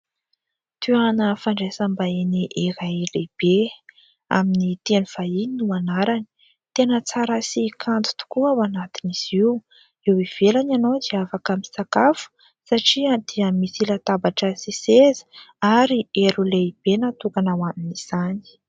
Toerana fandraisam-bahiny iray lehibe. Amin'ny teny vahiny no anarany. Tena tsara sy kanto tokoa ao anatin'izy io. Eo ivelany ianao dia afaka misakafo satria dia misy latabatra sy seza ary elo lehibe natokana ho amin'izany.